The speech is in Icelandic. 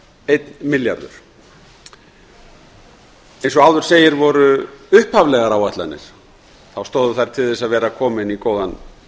einn milljarður eins og áður segir stóðu upphaflegar áætlanir til þess að vera kominn í góðan